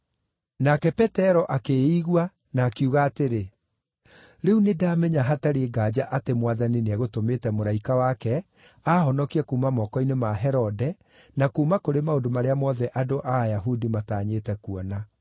Nake Petero akĩĩigua, na akiuga atĩrĩ, “Rĩu nĩndamenya hatarĩ nganja atĩ Mwathani nĩegũtũmĩte mũraika wake aahonokie kuuma moko-inĩ ma Herode na kuuma kũrĩ maũndũ marĩa mothe andũ a Ayahudi matanyĩte kuona.”